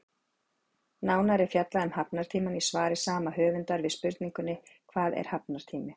Nánar er fjallað um hafnartímann í svari sama höfundar við spurningunni Hvað er hafnartími?